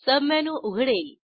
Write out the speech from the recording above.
submenu उघडेल